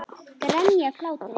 Grenja af hlátri.